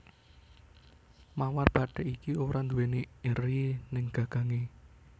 Mawar bathik iki ora nduwé eri ing gagangé